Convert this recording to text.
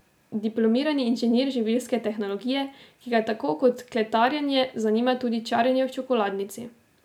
Diplomirani inženir živilske tehnologije, ki ga tako kot kletarjenje zanima tudi čaranje v čokoladnici.